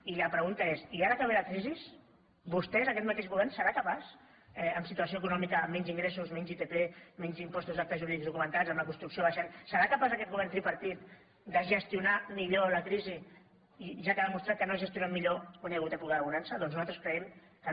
i la pregunta és i ara que ve la crisi vostès aquest mateix govern seran capaços en situació econòmica amb menys ingressos menys itp menys impostos d’actes jurídics documentats amb la construcció baixant serà capaç aquest govern tripartit de gestionar millor la crisi ja que ha demostrat que no ho ha gestionat millor quan hi ha hagut època de bonança doncs nosaltres creiem que no